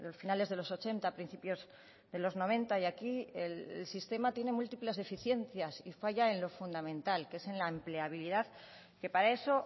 finales de los ochenta principios de los noventa y aquí el sistema tiene múltiples deficiencias y falla en lo fundamental que es en la empleabilidad que para eso